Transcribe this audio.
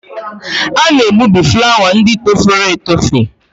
A na-egbubi flawa ndị torofere etofe.